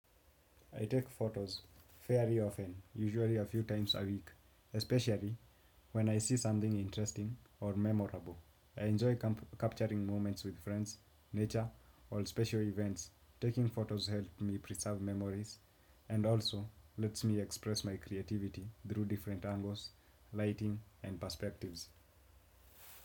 I take photos very often, usually a few times a week, especially when I see something interesting or memorable. I enjoy capturing moments with friends, nature, or special events. Taking photos help me preserve memories and also lets me express my creativity through different angles, lighting, and perspectives.